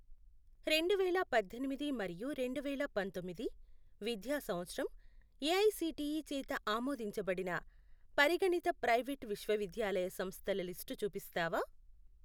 రెండువేల పద్దెనిమిది మరియు రెండువేల పంతొమ్మిది విద్యా సంవత్సరం ఏఐసిటిఈ చేత ఆమోదించబడిన పరిగణిత ప్రైవేట్ విశ్వవిద్యాలయ సంస్థల లిస్టు చూపిస్తావా?